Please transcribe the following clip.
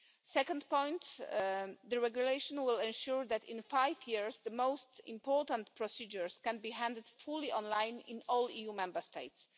Second, the regulation will ensure that in five years, the most important procedures can be handled entirely online in all EU Member States.